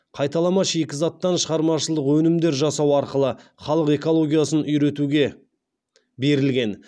қайталама шикізаттан шығармашылық өнімдер жасау арқылы халық экологиясын үйретуге басымдық берілген